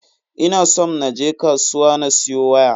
Ina somn na je kasuwa na siyo waya.